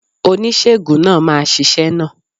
Oníṣègùn náà máa ṣiṣẹ́ náà.